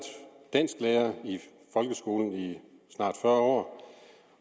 dansklærer i folkeskolen i snart fyrre år